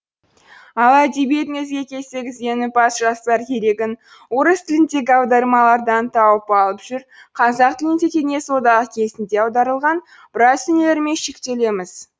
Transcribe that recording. ал әдебиетіңізге келсек ізденімпаз жастар керегін орыс тіліндегі аудармалардан тауып алып жүр қазақ тілінде кеңес одағы кезінде аударылған біраз дүниелермен шектелеміз